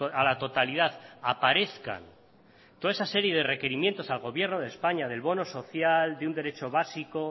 a la totalidad aparezcan toda esa serie de requerimientos al gobierno de españa del bono social de un derecho básico